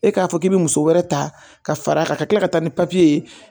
E k'a fɔ k'i bɛ muso wɛrɛ ta ka far'a kan ka kila ka taa ni papiye ye